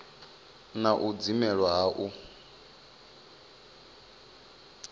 na u dzimelwa ha u